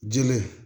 Jele